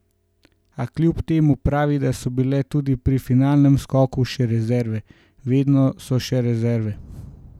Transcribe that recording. A kljub temu pravi, da so bile tudi pri finalnem skoku še rezerve: "Vedno so še rezerve.